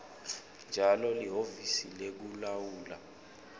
njalo lihhovisi lekulawulwa